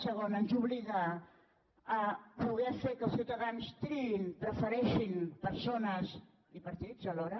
segon ens obliga a poder fer que els ciutadans triïn prefereixin persones i partits alhora